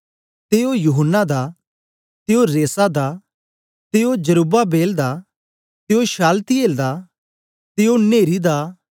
ते ओ यूहन्ना दा ते ओ रेसा दा ते ओ जरुब्बाबेल दा ते ओ शालतिएल दा ते ओ नेरी दा